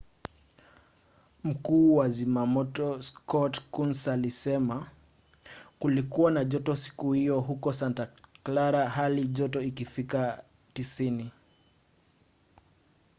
mkuu wa zimamoto scott kouns alisema kulikuwa na joto siku hiyo huko santa clara halijoto ikifikia 90